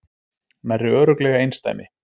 Nærri örugglega einsdæmi